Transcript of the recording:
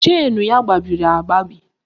Chenu ya gbabiri agbabi